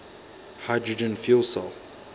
hydrogen fuel cell